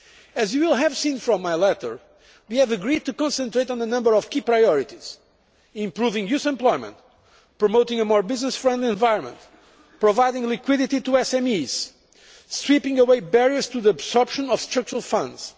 As you will have seen from my letter, we have agreed to concentrate on a number of key priorities improving youth employment, promoting a more business friendly environment, providing liquidity to SMEs and sweeping away barriers to the absorption of structural funds.